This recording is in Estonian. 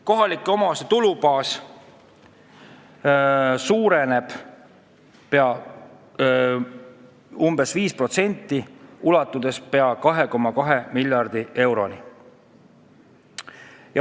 Kohalike omavalitsuste tulubaas suureneb umbes 5%, ulatudes pea 2,2 miljardi euroni.